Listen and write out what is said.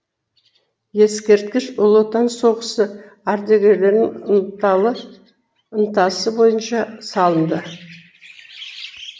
ескерткіш ұлы отан соғысы ардагерлерінің ынтасы бойынша салынды